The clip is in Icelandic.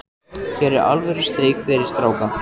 Hér er alvöru steik fyrir stráka.